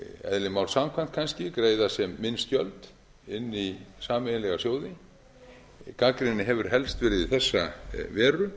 eðli máls samkvæmt kannski greiða sem minnst gjöld inn í sameiginlega sjóði gagnrýnin hefur helst verið í þessa veru